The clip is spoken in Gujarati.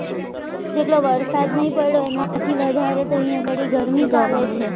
જેટલો વરસાદ નહીં પડ્યો એના કરતા વધારે અહીંયા આગળી ગરમી ચાલે છે